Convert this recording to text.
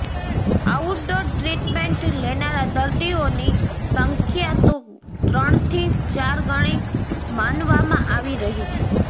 outdoor treatment લેનારા દર્દીઓની સંખ્યા તો ત્રણથી ચાર ગણી માનવામાં આવી રહી છે